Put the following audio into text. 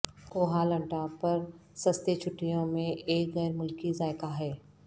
کوہ لنٹا پر سستے چھٹیوں میں ایک غیر ملکی ذائقہ ہے